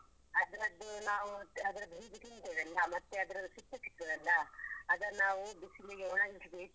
ಅದ್ರದ್ದು ನಾವು ಅದ್ರದ್ದು ನಾವು ಬೀಜ ತಿಂತೇವಲ್ಲ ಮತ್ತೆ ಅದ್ರದ್ದು ಸಿಪ್ಪೆ ಸಿಗ್ತದಲ್ಲ ಅದನ್ನು ನಾವು ಬಿಸಿಲಿಗೆ ಒಣಗಿಸಿ ಇಟ್ಟು